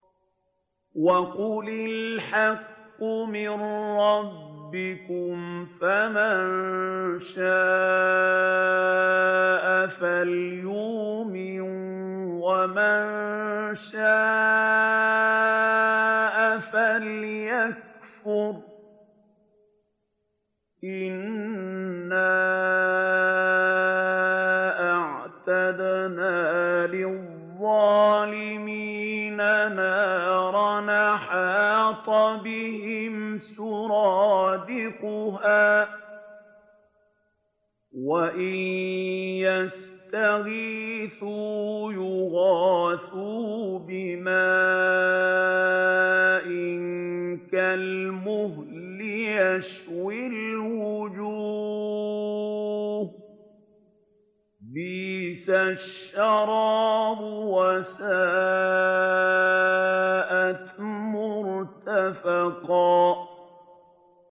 وَقُلِ الْحَقُّ مِن رَّبِّكُمْ ۖ فَمَن شَاءَ فَلْيُؤْمِن وَمَن شَاءَ فَلْيَكْفُرْ ۚ إِنَّا أَعْتَدْنَا لِلظَّالِمِينَ نَارًا أَحَاطَ بِهِمْ سُرَادِقُهَا ۚ وَإِن يَسْتَغِيثُوا يُغَاثُوا بِمَاءٍ كَالْمُهْلِ يَشْوِي الْوُجُوهَ ۚ بِئْسَ الشَّرَابُ وَسَاءَتْ مُرْتَفَقًا